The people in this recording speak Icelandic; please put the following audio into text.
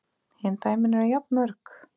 Hin dæmin eru jafn mörg.